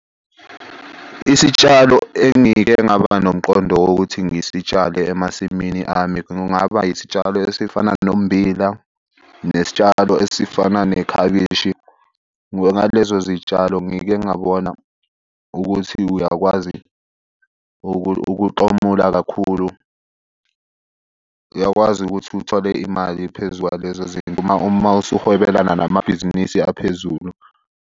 Isitshalo engike ngaba nomqondo wokuthi ngisitshale emasimini ami kungaba isitshalo esifana nommbila nesitshalo esifana nekhabishi. Ngalezo zitshalo ngike ngabona ukuthi uyakwazi ukutomula kakhulu. Uyakwazi ukuthi uthole imali phezu kwalezo zinto uma usuholelana namabhizinisi aphezulu.